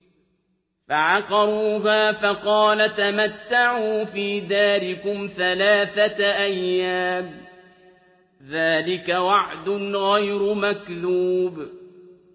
فَعَقَرُوهَا فَقَالَ تَمَتَّعُوا فِي دَارِكُمْ ثَلَاثَةَ أَيَّامٍ ۖ ذَٰلِكَ وَعْدٌ غَيْرُ مَكْذُوبٍ